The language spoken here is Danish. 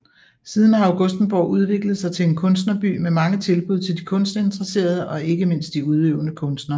Siden har Augustenborg udviklet sig til en kunstnerby med mange tilbud til kunstinteresserede og ikke mindst de udøvende kunstnere